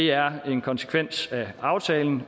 er en konsekvens af aftalen